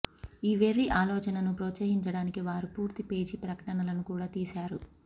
ఈ వెర్రి ఆలోచనను ప్రోత్సహించడానికి వారు పూర్తి పేజీ ప్రకటనలను కూడా తీశారు